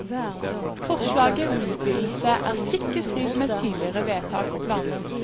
Forslaget om utvidelse er stikk i strid med tidligere vedtak og planer.